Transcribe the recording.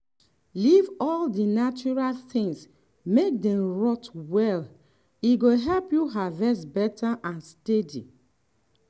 leave all dem natural things make dem rot well e go help you harvest better and steady.